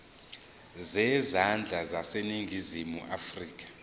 zezandla zaseningizimu afrika